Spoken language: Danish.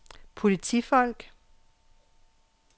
politifolk